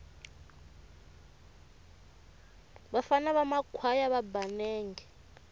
vafana va makhwaya va ba nenge